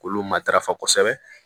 K'olu matarafa kosɛbɛ